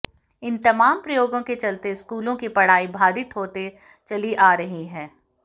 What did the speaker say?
इन तमाम प्रयोगों के चलते स्कूलों की पढ़ाई बाधित होते चली आ रही है